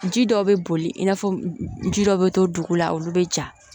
Ji dɔ bɛ boli i n'a fɔ ji dɔ bɛ to dugu la olu bɛ ja